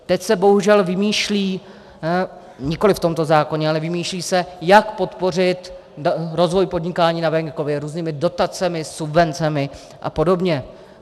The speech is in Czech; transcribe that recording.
Teď se bohužel vymýšlí, nikoliv v tomto zákoně, ale vymýšlí se, jak podpořit rozvoj podnikání na venkově různými dotacemi, subvencemi a podobně.